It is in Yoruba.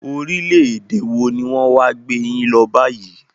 Orílẹ̀-èdè wọ ní wọn wá gbé yín lọ báyìí?